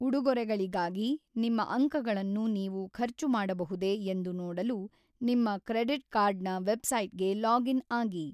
ಉಡುಗೊರೆಗಳಿಗಾಗಿ ನಿಮ್ಮ ಅಂಕಗಳನ್ನು ನೀವು ಖರ್ಚು ಮಾಡಬಹುದೇ ಎಂದು ನೋಡಲು ನಿಮ್ಮ ಕ್ರೆಡಿಟ್ ಕಾರ್ಡ್‌ನ ವೆಬ್‌ಸೈಟ್‌ಗೆ ಲಾಗ್ ಇನ್ ಆಗಿ.